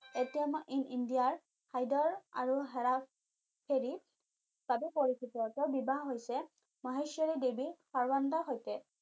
in ইণ্ডিয়াৰ হায়দৰ আৰু হেৰা হেৰি বাবে পৰিচিত তেও বিবাহ হৈছে মহেশ্বৰী দেৱী সৈতে